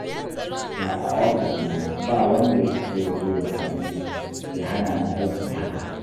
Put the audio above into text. Da a ofis ne, ba wanda ya isa ya zo ya dame ni, ya hana ni aiki haka